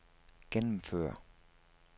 gennemføre